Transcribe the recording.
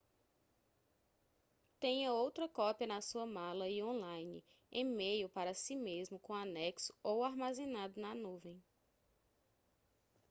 tenha outra cópia na sua mala e online e-mail para si mesmo com anexo ou armazenado na nuvem”